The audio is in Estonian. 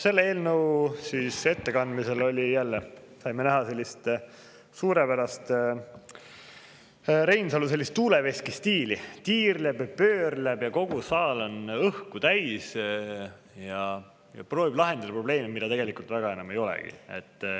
Selle eelnõu ettekandmisel saime jälle näha Reinsalu suurepärast tuuleveskistiili: tiirleb, pöörleb, nii et kogu saal on õhku täis, ja proovib lahendada probleemi, mida tegelikult väga enam ei olegi.